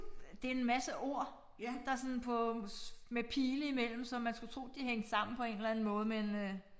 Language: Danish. Øh det en masse ord der sådan på med pile imellem så man skulle tro de hængte sammen på en eller anden måde men øh